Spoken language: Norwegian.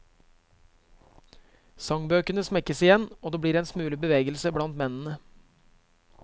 Sangbøkene smekkes igjen, og det blir en smule bevegelse blant mennene.